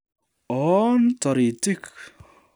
Oon taritik